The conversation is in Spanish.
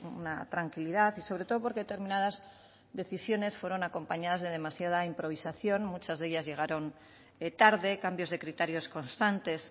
una tranquilidad y sobre todo porque determinadas decisiones fueron acompañadas de demasiada improvisación muchas de ellas llegaron tarde cambios de criterios constantes